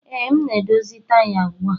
Ee, m na-edozi taya ugbu a